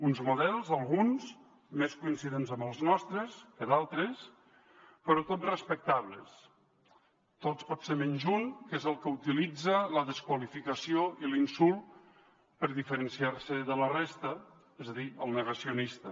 uns models alguns més coincidents amb els nostres que d’altres però tots respectables tots potser menys un que és el que utilitza la desqualificació i l’insult per diferenciar se de la resta és a dir el negacionista